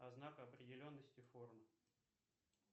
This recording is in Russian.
знак определенности формы